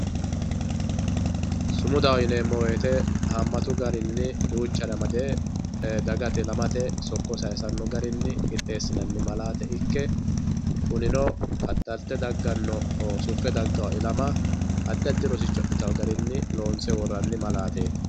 Sumudaho yineemo woyite haamatu garini duuchare amade dagate ilamate sokko sayisano garini qixeesinani malaate ikke kunino qaxalte dagano suffe dagawo ilama adi adi rosicho adhitawo garini loonse worani malaateti.